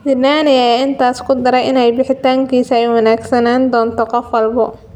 Zidane ayaa intaa ku daray in bixitaankiisa ay u wanaagsanaan doonto qof walba.